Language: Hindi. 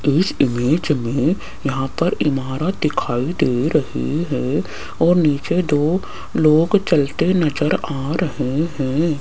इस इमेज में यहां पर इमारत दिखाई दे रही है और नीचे दो लोग चलते नजर आ रहे हैं।